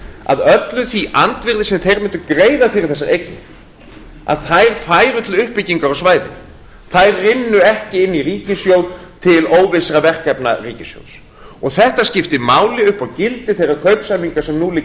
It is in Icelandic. að öllu því andvirði sem þeir mundu greiða fyrir þessar eignir færu til uppbyggingar á svæðinu þær rynnu ekki einn ríkissjóð til óvissra verkefna ríkissjóðs og þetta skiptir máli upp á gildi þeirra kaupsamninga sem nú liggja